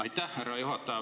Aitäh, härra juhataja!